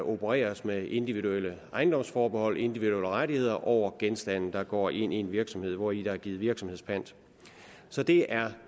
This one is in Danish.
opereres med individuelle ejendomsforbehold og individuelle rettigheder over genstande der går ind i en virksomhed hvori der er givet virksomhedspant så det er